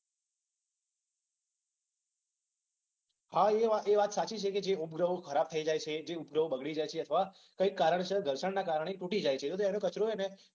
હા એ વાત સાચી છે કે જે ઉપગ્રહો ખરાબ થઈ જાય છે. જે ઉપગ્રહો બગડી જાય છે. અથવા કઈ કારણસર ઘર્ષણના કારણે તુટી જાય છે. તો તેને કચરો છે ને